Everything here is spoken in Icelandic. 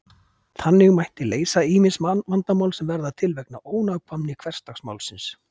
þannig mætti leysa ýmis vandamál sem verða til vegna ónákvæmni hversdagsmálsins